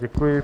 Děkuji.